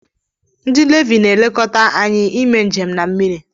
Ndi navi na elekọta anyi ime njem na mmiri